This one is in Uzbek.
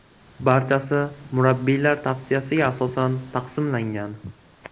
Barchasi murabbiylar tavsiyasiga asosan taqsimlangan.